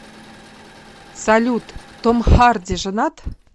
салют том харди женат